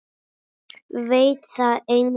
Veit það enginn?